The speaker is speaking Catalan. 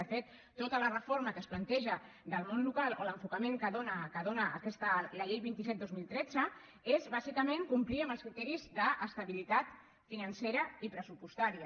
de fet tota la reforma que es planteja del món local o l’enfocament que dóna la llei vint set dos mil tretze és bàsicament complir els criteris d’estabilitat financera i pressupostària